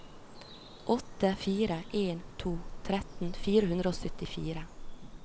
åtte fire en to tretten fire hundre og syttifire